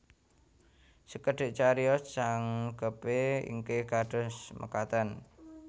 Sekedhik cariyos jangkepé inggih kados mekaten